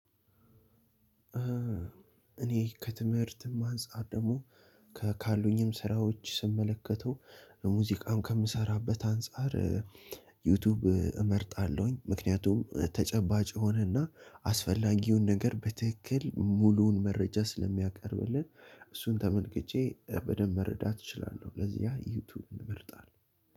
እኔ ከትምህርትም አንፃር ደግሞ ከ ካሉኝም ስራዎች ስመለከተው ሙዚቃውን ከምሰራበት አንፃር ዩቲዩብ እመርጣለሁኝ ምክንያቱም ተጨባጭ የሆነና አስፈላጊውን ነገር በትክክል ሙሉውን መረጃ ስለሚያቀርብልን እሱን ተመልክቼ በደንብ መረዳት እችላለሁ። ለዚያ ዩቲዩብ እመርጣለሁ